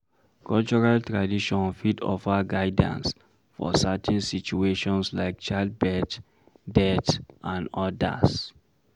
Cultural traditon fit offer guidance for certain situations like child birth, death and odas